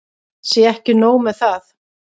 Ekki sé nóg með það.